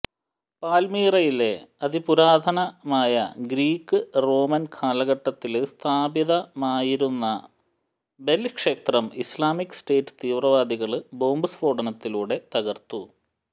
പാൽമിറയിലെ അതിപുരാതനമായ Greek Roman കാലഘട്ടത്തില് സ്ഥാപിതമായിരുന്ന ബെല് ക്ഷേത്രം ഇസ്ലാമിക് സ്റ്റേറ്റ് തീവ്രവാദികള് ബോംബ് സ്ഫോടനത്തിലൂടെ തകര്ത്തു